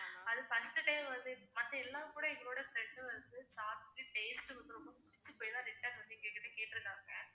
அது first time வந்து மத்த எல்லாம்கூட எங்களோட friend வந்து சாப்பிட்டு taste வந்து ரொம்ப புடிச்சு போயி தான் return வந்து எங்ககிட்ட கேட்டிருக்காங்க